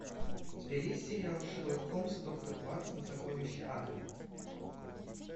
у тебя есть сериал шерлок холмс и доктор ватсон сокровища агры